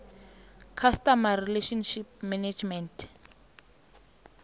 customer relationship management